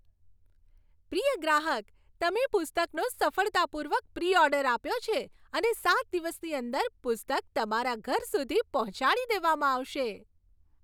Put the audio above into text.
પ્રિય ગ્રાહક! તમે પુસ્તકનો સફળતાપૂર્વક પ્રી ઓર્ડર આપ્યો છે અને સાત દિવસની અંદર પુસ્તક તમારા ઘર સુધી પહોંચાડી દેવામાં આવશે.